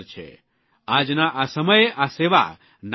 આજના આ સમયે આ સેવા નાનીસૂની નથી